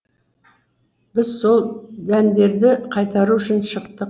біз сол дәндерді қайтару үшін шықтық